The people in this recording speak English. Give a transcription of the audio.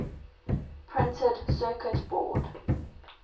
printed circuit board